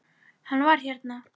Var hann hérna?